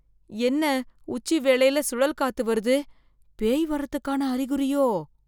என்ன, உச்சி வேளையில சுழல் காத்து வருது, பேய் வர்றதுக்கான அறிகுறியோ?